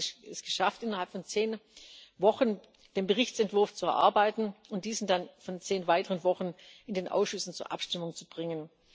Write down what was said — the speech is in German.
Wir haben es geschafft, innerhalb von zehn Wochen den Berichtsentwurf zu erarbeiten und diesen dann innerhalb von zehn weiteren Wochen in den Ausschüssen zur Abstimmung zu bringen.